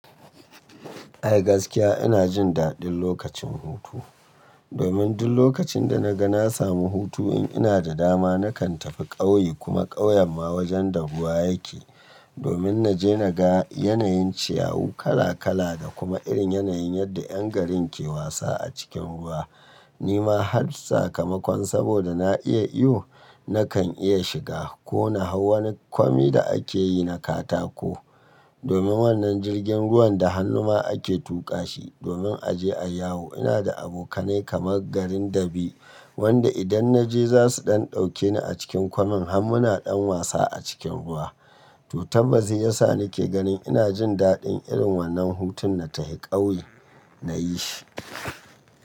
Ai gaskiya ina jin daɗin lokacin hutu. Domin duk lokacin da na ga na samu hutu in ina da dama nakan tafi ƙauye kuma ƙauyen ma wajen dabuwa yake. Domin na je na ga yanayin ciyawa kala kala da kuma irin yanayin yadda ƴan garin ke wasa a cikin ruwa. Ni ma har sakamakon saboda na iya iyo nakan iya shiga ko na hau wani kwami da ake yi na katako. Domin wannan jirgin ruwan da hannu ma ake tuƙa shi domin a je ayi yawo. Ina da abokanai kamar garin dabi wanda idan na je za su ɗan ɗauke ni a cikin kwamin har muna ɗan wasa a cikin ruwa. To tambasi ya sa ni ke ganin ina jin daɗin irin wannan hutun na tafi ƙauye na yi shi.